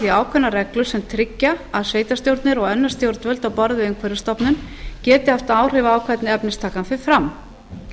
því ákveðnar reglur sem tryggja að sveitarstjórnir og önnur stjórnvöld á borð við umhverfisstofnun geti haft áhrif á hvernig efnistakan fer fram